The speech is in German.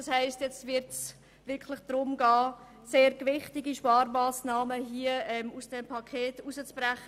Jetzt wird es darum gehen, sehr gewichtige Sparmassnahmen aus dem Paket herauszubrechen.